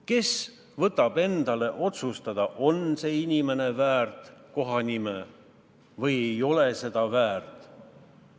Kes võtab otsustada, kas see inimene on väärt kohanime või ei ole seda väärt?